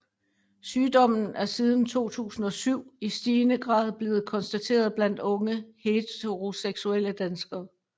Sygdommen er siden 2007 i stigende grad blevet konstateret blandt unge heteroseksuelle danskere